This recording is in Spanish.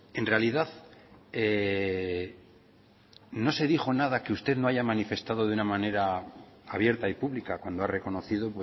en realidad no se dijo nada que usted no haya manifestado de una manera abierta y pública cuando ha reconocido